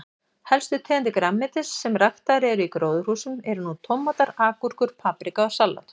Helstu tegundir grænmetis sem ræktaðar eru í gróðurhúsum eru nú tómatar, agúrkur, paprika og salat.